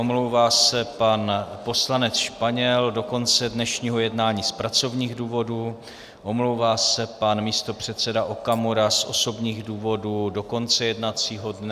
Omlouvá se pan poslanec Španěl do konce dnešního jednání z pracovních důvodů, omlouvá se pan místopředseda Okamura z osobních důvodů do konce jednacího dne.